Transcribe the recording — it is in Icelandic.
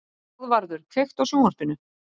Ráðvarður, kveiktu á sjónvarpinu.